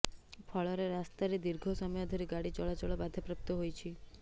ଫଳରେ ରାସ୍ତାରେ ଦୀର୍ଘ ସମୟ ଧରି ଗାଡ଼ି ଚଳାଚଳ ବାଧାପ୍ରାପ୍ତ ହୋଇଛି